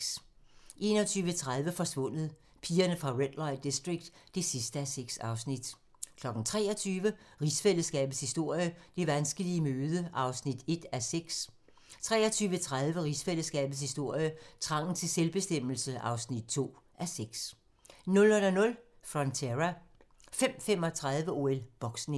21:30: Forsvundet: Pigerne fra Red Light District (6:6) 23:00: Rigsfællesskabets historie: Det vanskelige møde (1:6) 23:30: Rigsfællesskabets historie: Trangen til selvbestemmelse (2:6) 00:00: Frontera 05:35: OL: Boksning